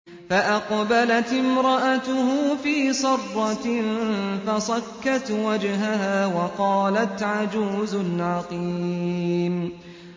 فَأَقْبَلَتِ امْرَأَتُهُ فِي صَرَّةٍ فَصَكَّتْ وَجْهَهَا وَقَالَتْ عَجُوزٌ عَقِيمٌ